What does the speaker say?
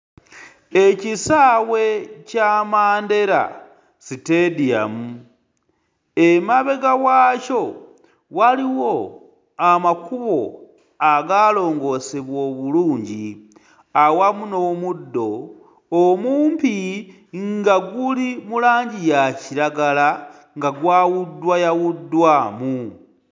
Ekisaawe kya Mandera stadium. Emabega waakyo waliwo amakubo agaalongoosebwa obulungi awamu n'omuddo omumpi nga guli mu langi ya kiragala nga gwawuddwayawuddwamu.